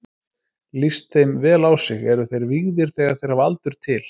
Lítist þeim vel á sig, eru þeir vígðir þegar þeir hafa aldur til.